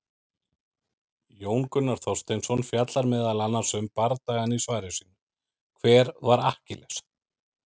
Jón Gunnar Þorsteinsson fjallar meðal annars um bardagann í svari sínu, Hver var Akkiles?